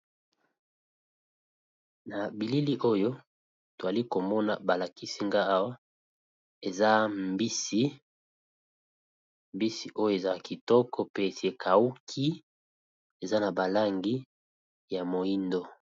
na bilili oyo toali komona balakisi nga awa eza mbisi mbisi oyo eza kitoko pe tekauki eza na balangi ya moindo